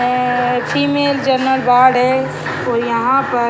ए-ए-ए female general ward है तो यहां पे --